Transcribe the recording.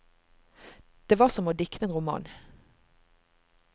Det var som å dikte en roman.